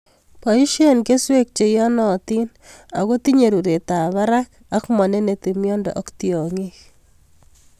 Boisien keswek cheiyonotin ako tinye ruretab barak ak moneneti miondo ok tiong'ik.